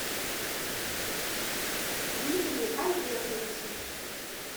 дмитрию альбертовичу